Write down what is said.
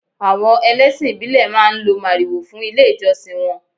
Àwọn ẹlẹ́sìn ìbílè máa ń lo màrìwò fún ilé ìjọsìn wọn.